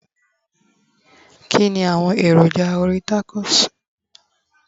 kini awọn èròjà orí tacos